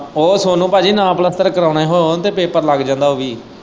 ਉਹ ਸੋਨੂੰ ਭਾਜੀ ਨਾ ਪਲੱਸਤਰ ਕਰਵਾਉਣੇ ਹੋਣ ਤੇ ਪੇਪਰ ਲੱਗ ਜਾਂਦਾ ਉਵੀਂ।